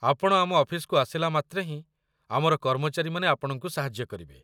ଆପଣ ଆମ ଅଫିସକୁ ଆସିଲା ମାତ୍ରେ ହିଁ ଆମର କର୍ମଚାରୀମାନେ ଆପଣଙ୍କୁ ସାହାଯ୍ୟ କରିବେ।